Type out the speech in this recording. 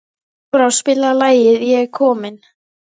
Kolbrá, spilaðu lagið „Ég er kominn“.